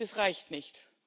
Das reicht nicht!